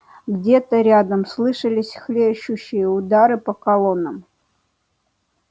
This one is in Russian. где-то рядом слышались хлещущие удары по колоннам